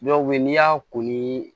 Dɔw bɛ yen n'i y'a ko ni